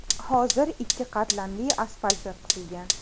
Hozir ikki qatlamli asfalt yotqizilgan.